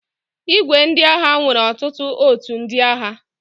ìgwè ndị agha nwere otutu ótù ndị agha.